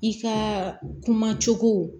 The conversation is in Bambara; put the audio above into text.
I ka kuma cogo